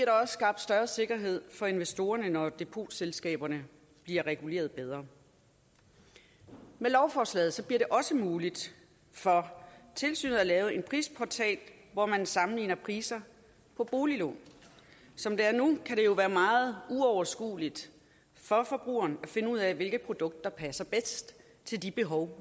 også skabt større sikkerhed for investorerne når depotselskaberne bliver reguleret bedre med lovforslaget bliver det også muligt for tilsynet at lave en prisportal hvor man sammenligner priser på boliglån som det er nu kan det jo være meget uoverskueligt for forbrugeren at finde ud af hvilke produkter der passer bedst til de behov